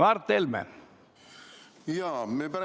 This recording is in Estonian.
Mart Helme, palun!